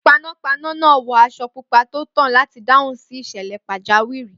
Panápaná náà wọ aṣọ pupa tó tàn láti dáhùn sí ìṣẹ̀lẹ̀ pàjáwìrì.